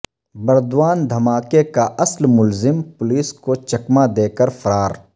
بردوان دھماکہ کا اصل ملزم پولیس کو چکمہ دے کر فرار